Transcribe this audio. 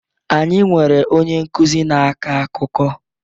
Anyị nwere onye nkuzi na-akọ akụkọ